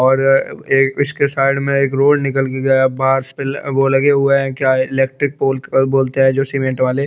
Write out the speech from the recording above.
और एक इसके साइड में एक रोड निकल के गया है बास पेल अ वो लगे हुए क्या इलेक्ट्रिक पोल बोलते है जो सीमेंट वाले--